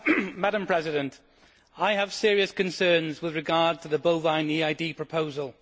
Madam President, I have serious concerns with regard to the bovine EID proposal.